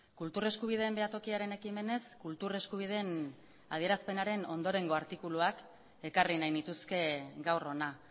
kultur eskubideen behatokiaren ekimenez kultur eskubideen adierazpenaren ondorengo artikuluak ekarri nahi nituzke gaur hona